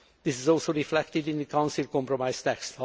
This is also reflected in the Council compromise